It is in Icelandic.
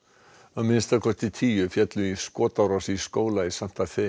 að minnsta kosti tíu féllu í skotárás í skóla í Santa